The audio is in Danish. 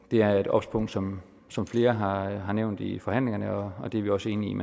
er et obs punkt som som flere har har nævnt i forhandlingerne og det er vi også enige